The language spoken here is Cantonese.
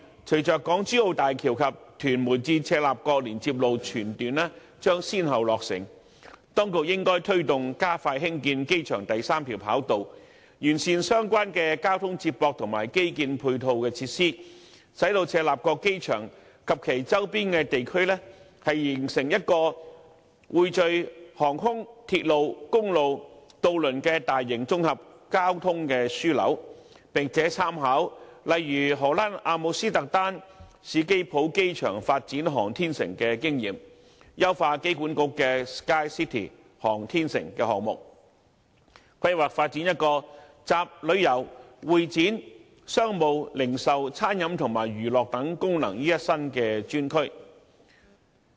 隨着港珠澳大橋及屯門至赤鱲角連接路全段將先後落成，當局應該推動加快興建機場第三條跑道，並完善相關的交通接駁和基建配套設施，使赤鱲角機場及其周邊地區形成一個匯聚航空、鐵路、公路和渡輪的大型綜合交通樞紐，並且參考其他地方，例如荷蘭阿姆斯特丹史基浦機場發展航天城的經驗，優化香港機場管理局的 "SKYCITY 航天城"項目，藉以規劃發展一個集旅遊、會展、商務、零售、餐飲和娛樂等功能於一身的專區。